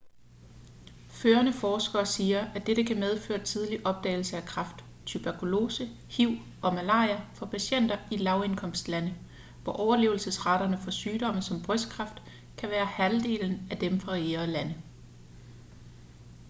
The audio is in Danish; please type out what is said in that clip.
førende forskere siger at dette kan medføre tidlig opdagelse af kræft tuberkulose hiv og malaria for patienter i lavindkomstlande hvor overlevelsesraterne for sygdomme såsom brystkræft kan være halvdelen af dem fra rigere lande